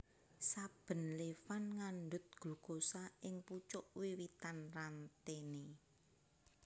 Saben levan ngandhut glukosa ing pucuk wiwitan rantene